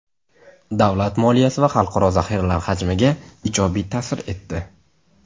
davlat moliyasi va xalqaro zaxiralar hajmiga ijobiy ta’sir etdi.